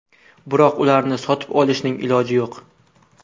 Biroq ularni sotib olishning iloji yo‘q.